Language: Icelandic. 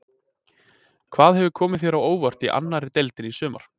Hvað hefur komið þér á óvart í annari deildinni í sumar?